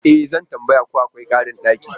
E! Zan tambaya ko akwai karin daki.